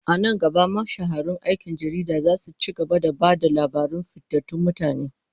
A nan gaba, mashahuran aikin jarida za su ci gaba da ba da labaran fitattun mutane.